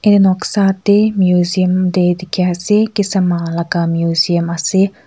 ye noksa de meseum de diki ase kisama laka museum ase.